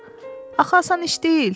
Axı asan iş deyil.